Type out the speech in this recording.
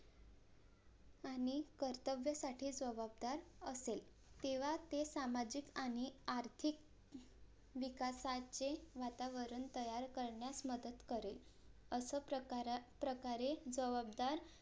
आणि कर्तव्यसाठी जवाबदार असेल तेव्हा ते सामाजिक आणि आर्थिक विकासाचे वातावरण तयार करण्यास मदत करेल असप्रकारा प्रकारे जवाबदार